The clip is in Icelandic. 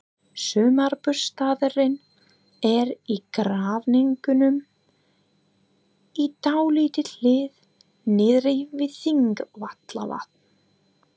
Sumarbústaðurinn er í Grafningnum, í dálítilli hlíð niðri við Þingvallavatn.